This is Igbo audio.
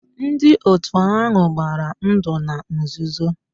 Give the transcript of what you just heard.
Ndị otu ahụ gbara ndụ na nzuzo